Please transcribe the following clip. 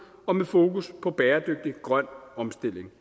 og med fokus på bæredygtig grøn omstilling